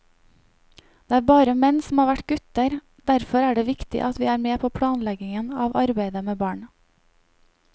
Det er bare menn som har vært gutter, derfor er det viktig at vi er med på planleggingen av arbeidet med barn.